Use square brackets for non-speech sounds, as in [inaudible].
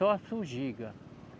Só [unintelligible]